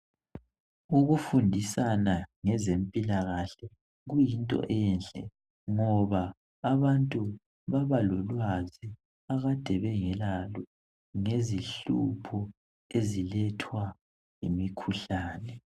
Ukufundisana ngezempilakahle kuyinto enhle ngoba abantu babalolwazi akade bengelalo ngezinhlupho ezilethwa yimikhuhlane.